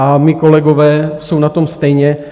A mí kolegové jsou na tom stejně.